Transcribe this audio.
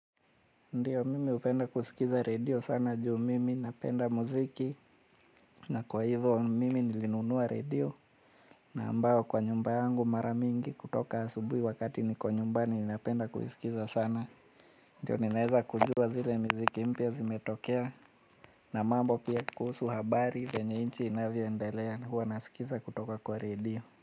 Ndiyo mimi hupenda kusikiza radio sana juu mimi napenda muziki na kwa hivyo mimi nilinunua radio na ambayo kwa nyumba yangu maramingi kutoka asubuhi wakati niko nyumbani napenda kuisikiza sana. Ndiyo ninaeza kujua zile miziki mpya zimetokea na mambo pia kuhusu habari venye inchi inavyoendelea na huwa nasikiza kutoka kwa radio.